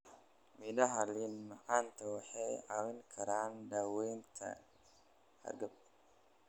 Midhaha liin macan waxay caawin karaan daaweynta hargab.